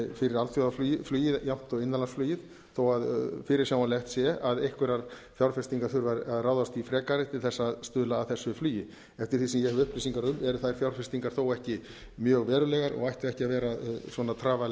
fyrir alþjóðafluginu jafnt og innanlandsflugið þó fyrirsjáanlegt sé að einhverjar fjárfestingar þurfi að ráðast í frekari til að stuðla að þessu flugi eftir því sem ég hef upplýsingar um eru þær fjárfestingar þó ekki mjög verulegar og ættu ekki að vera trafala